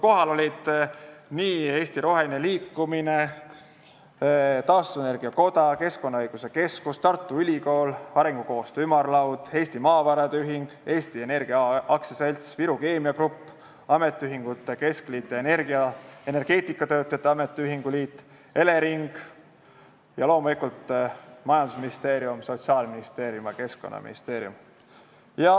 Kohal olid Eesti Roheline Liikumine, Eesti Taastuvenergia Koda, Keskkonnaõiguse Keskus, Tartu Ülikool, Arengukoostöö Ümarlaud, Eesti Maavarade Ühing, Eesti Energia AS, Viru Keemia Grupp, Eesti Ametiühingute Keskliit, Eesti Energeetikatöötajate Ametiühingute Liit, Elering ning loomulikult Majandus- ja Kommunikatsiooniministeerium, Sotsiaalministeerium ja Keskkonnaministeerium.